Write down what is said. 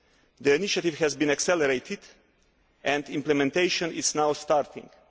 The initiative has been accelerated and implementation is now starting.